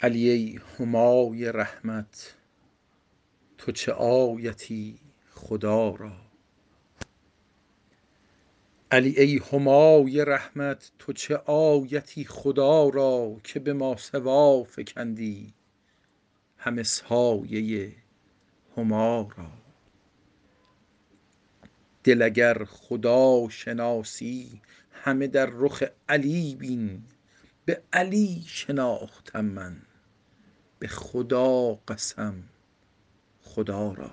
علی ای همای رحمت تو چه آیتی خدا را که به ماسوا فکندی همه سایه هما را دل اگر خداشناسی همه در رخ علی بین به علی شناختم من به خدا قسم خدا را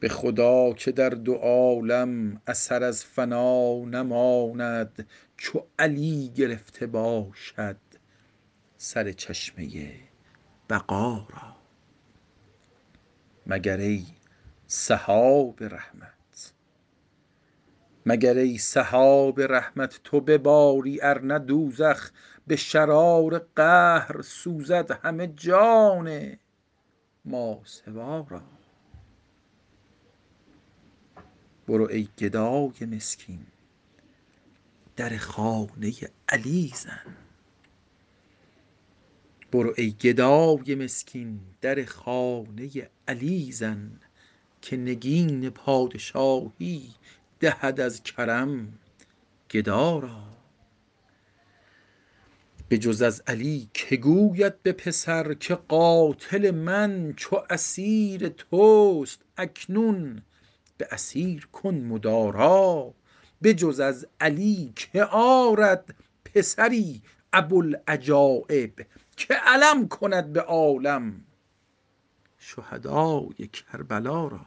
به خدا که در دو عالم اثر از فنا نماند چو علی گرفته باشد سر چشمه بقا را مگر ای سحاب رحمت تو بباری ارنه دوزخ به شرار قهر سوزد همه جان ماسوا را برو ای گدای مسکین در خانه علی زن که نگین پادشاهی دهد از کرم گدا را بجز از علی که گوید به پسر که قاتل من چو اسیر توست اکنون به اسیر کن مدارا بجز از علی که آرد پسری ابوالعجایب که علم کند به عالم شهدای کربلا را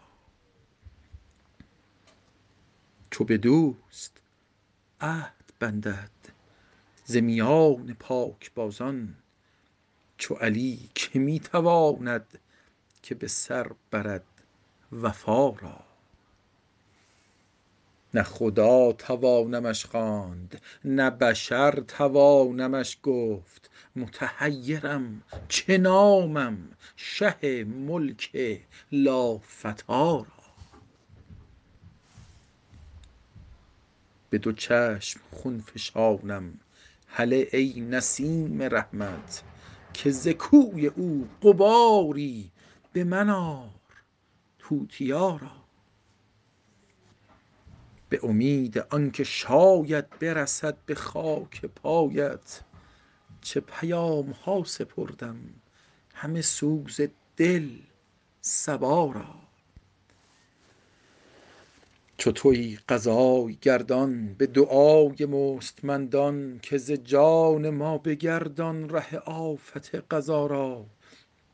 چو به دوست عهد بندد ز میان پاکبازان چو علی که می تواند که به سر برد وفا را نه خدا توانمش خواند نه بشر توانمش گفت متحیرم چه نامم شه ملک لافتی را به دو چشم خون فشانم هله ای نسیم رحمت که ز کوی او غباری به من آر توتیا را به امید آن که شاید برسد به خاک پایت چه پیامها سپردم همه سوز دل صبا را چو تویی قضای گردان به دعای مستمندان که ز جان ما بگردان ره آفت قضا را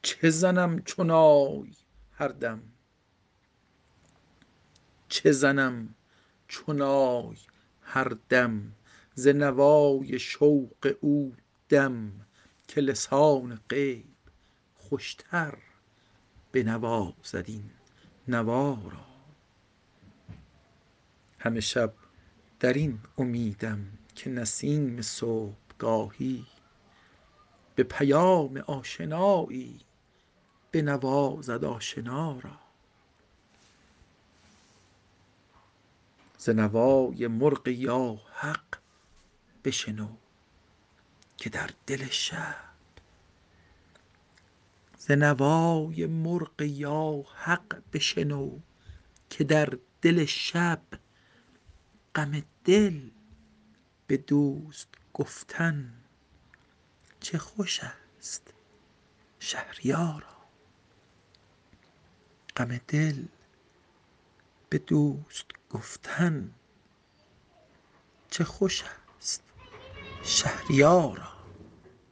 چه زنم چو نای هر دم ز نوای شوق او دم که لسان غیب خوشتر بنوازد این نوا را همه شب در این امیدم که نسیم صبحگاهی به پیام آشنایی بنوازد آشنا را ز نوای مرغ یا حق بشنو که در دل شب غم دل به دوست گفتن چه خوش است شهریارا